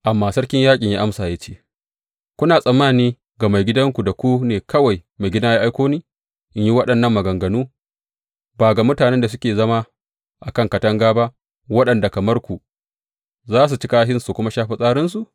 Amma sarkin yaƙin ya amsa ya ce, Kuna tsammani ga maigidanku da ku ne kawai maigidana ya aiko ni in yi waɗannan maganganu, ba ga mutanen da suke zama a kan katanga ba, waɗanda kamar ku, za su ci kashinsu su kuma sha fitsarinsu?